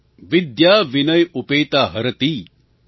विद्या विनय उपेता हरति